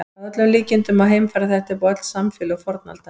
Að öllum líkindum má heimfæra þetta upp á öll samfélög fornaldar.